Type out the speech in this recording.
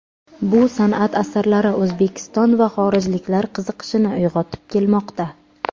Bu san’at asarlari O‘zbekiston va xorijliklar qiziqishini uyg‘otib kelmoqda.